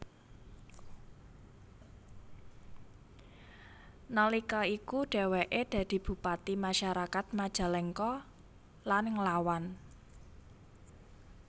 Nalika iku dheweke dadi bupati masyarakat Majalengka lan nglawan